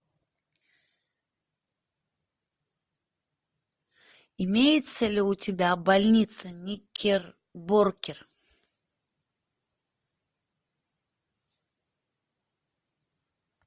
имеется ли у тебя больница никербокер